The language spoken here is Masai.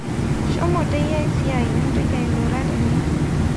Shomo teyiai siai mintoki ailura tene